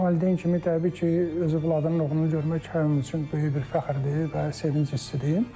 Bir valideyn kimi təbii ki, öz balanın oğlunu görmək hər kəm üçün böyük bir fəxrdir və sevinc hissidir.